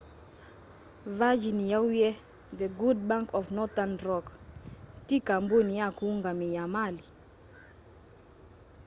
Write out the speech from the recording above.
virgin yauwie the good bank of northern rock ti kambuni ya kũungamia mali